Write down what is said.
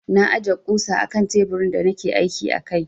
Na aje ƙusa akan teburin da nake aiki a kai.